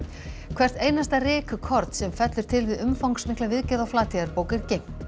hvert einasta rykkorn sem fellur til við umfangsmikla viðgerð á Flateyjarbók er geymt